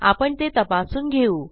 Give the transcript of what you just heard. आपण ते तपासून घेऊ